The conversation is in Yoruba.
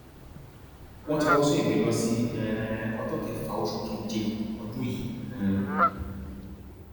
wọn ti wáá sún ìgbẹjọ sí um ọjọ kẹfà oṣù keje ọdún yìí um